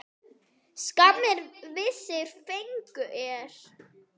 Skammir vissir fengu.